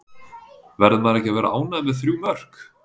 Verður maður ekki að vera ánægður með þrjú mörk?